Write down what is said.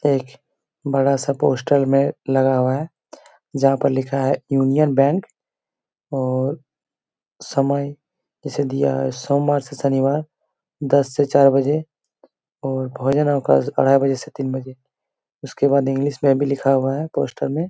एक बड़ा-सा पोस्टर में लगा हुआ है जहाँ पर लिखा है यूनियन बैंक और समय इसे दिया है सोमवार से शनिवार दस से चार बजे और भोजन अवकाश ढाई बजे से तीन बजे उसके बाद इंग्लिश में भी लिखा हुआ है पोस्टर में--